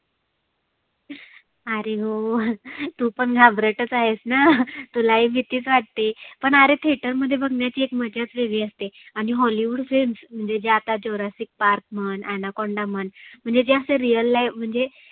आरे हो तु पण घाबरटच आहेसना, तुलाही भितीच वाटते. पण आरे theater मध्ये बघण्याची एक मज्जाच वेगळी असते. आणि hollywood films म्हणजे आता Jurasic Park म्हण Anaconda म्हणजे ज्या अशा real live म्हणजे